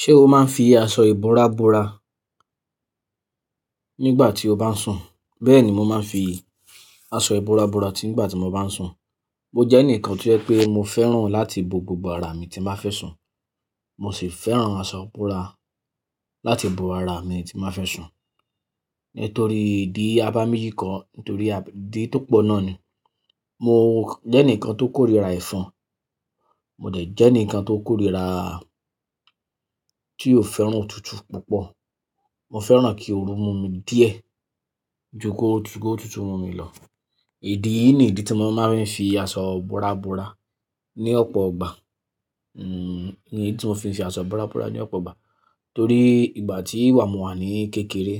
Ṣé o máa ń fi aṣọ ìbora bora nígbà tí o bá ń sùn? Bẹ́ẹ̀ni, mo máa ń fi aṣọ ìbúra búra nígbà tí mo bá ń sùn. Mo jẹ́ ẹnìkan tí ó jẹ́ pé mo fẹ́ràn láti bo gbogbo ara mi tí m bá fẹ́ sùn. Mo sì fẹ́ràn aṣọ ìbora láti bo ara mi tí m bá fẹ́ sùn, nítorí ìdí abámejì kọ, nítorí ìdí tó pọ̀ náà ni mo jẹ́ ẹnìkan tó kórìíra ẹ̀fọn. Mo dẹ̀ jẹ́ ẹnìkan tó kórìíra tí ò fẹ́ràn òtútù púpọ̀. Mo fẹ́ràn kí oru mú mi díẹ̀ ju ko tútù mú mi lọ. Idí nìyí ni ìdí tí mo máa ń fi aṣọ ìbora bora ní ọ̀pọ̀ ìgbà. Ní tí mo fi ń fi aṣọ ìbora bora ní ọ̀pọ̀ ìgbà torí ìgbà tí wa mò wà ní kékeré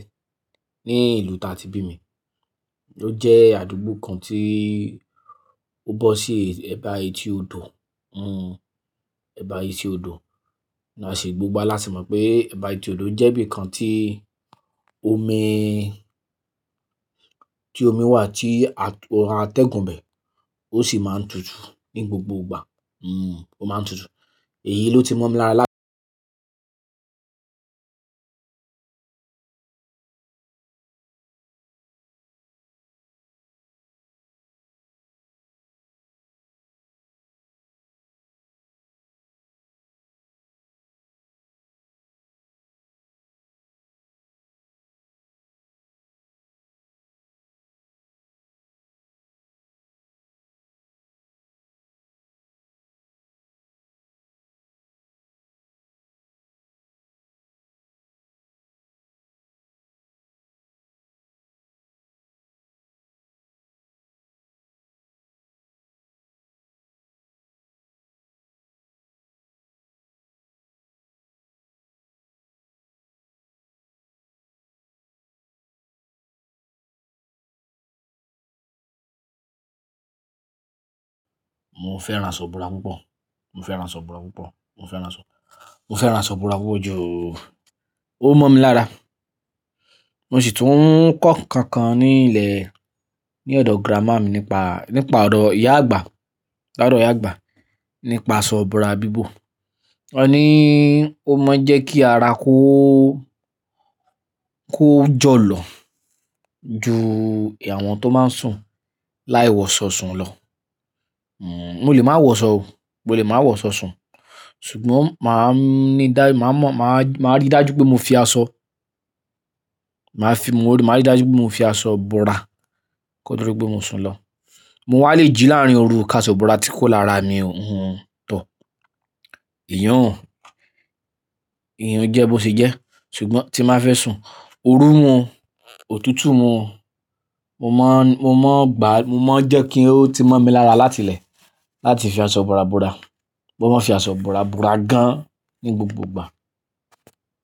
ní ìlú tí a ti bí mi, ó jẹ́ àdúgbò kan tí ó bọ́ sí ẹ̀bá etí odò, ẹ̀bá etí odò. A sì gbogbo wa láti mọ̀ pé ẹ̀bá etí odò jẹ́ ibi kan tí omi, tí omi wà tí ó ra atẹ́gùn bẹ́ẹ̀, ó sì máa ń tutù ní gbogbo ìgbà. N, ó máa ń tutù. Èyí ló ti mọ̀ mi lára láti Mo fẹ́ran aṣọ ìbora púpọ̀. Mo fẹ́ran aṣọ ìbúra púpọ̀. Mo fẹ́ran aṣọ, mo fẹ́ran aṣọ ìbúra púpọ̀ ju-- ó mọ̀ mi lára. Mo sì tún ń kọ́ nǹkan kan ní ilẹ̀, ní ọ̀dọ̀ grammar mi nípa, nípa ọ̀dọ̀ ìyá àgbà, l'ọ̀dọ̀ ìyá àgbà nípa aṣọ ìbora bíbò. Ó ní ó mọ jẹ́ kí ara kó, kó jọ̀lọ̀ ju àwọn tó máa ń sùn láì wọ̀ṣọ̀ sùn lọ. Mo lè máa wọ̀ṣọ̀ o. Mo lè máa wọ̀ṣọ̀ sùn. Ṣùgbọ́n màá ní dá, màá mọ̀, màá rí dájú pé mo fi aṣọ, màá fi, mo rí, màá rí dájú pé mo fi aṣọ bora ko to di pé mo sùn lọ. Mo wá lè jí láàárín oru ká aṣọ ìbúra tí kúrò lára mi o tọ̀. Iyun, iyun jẹ bó ṣe jẹ́. Ṣùgbọ́n tí m bá fẹ́ sùn, oru mú o, òtútù mú o, mo máa ń, mo máa ń gbá, mo máa ń jẹ́ kí ó ti mọ̀ mi lára láti ilẹ̀ láti fi aṣọ ìbora bora. Mo máa ń fi aṣọ ìbora bora gan ní gbogbo ìgbà.